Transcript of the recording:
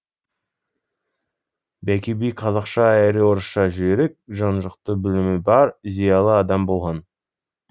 бәкі би қазақша әрі орысша жүйрік жан жақты білімі бар зиялы адам болған